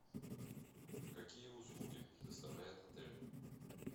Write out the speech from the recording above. какие услуги предоставляет отель